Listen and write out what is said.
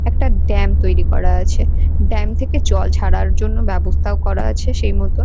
একটা ড্যাম তৈরি করা আছে ড্যাম থেকে জল ছাড়ার জন্য ব্যবস্থাও করা আছে সেই মতন।